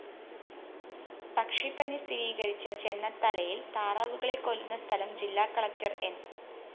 പക്ഷിപ്പനി സ്ഥിരീകരിച്ച ചെന്നത്തലയില്‍ താറാവുകളെ കൊല്ലുന്ന സ്ഥലംജില്ലാ കളക്ടർ ന്‌